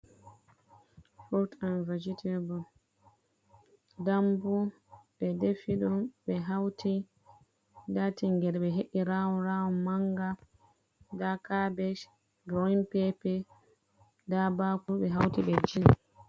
Furut an vagetable ɗamɓu ,ɓe ɗefiɗum ɓe hauti ɗa tingere be he’i rawn rawn, manga ɗa cabej grawin pepe ɗa ɓakuru ɓe hauti ɓe kulli.